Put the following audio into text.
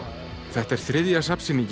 þetta er þriðja